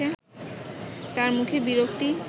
তার মুখে বিরক্তি